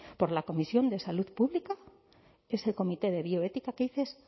por la comisión de salud pública es el comité de bioética